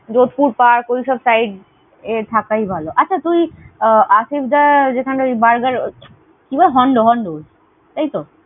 Jodhpur Park ওই সব side এ থাকাই ভালো। আচ্ছা, তুই আশিসদা যেখানে ওই burger কিবেস Hondo Hondo এতই?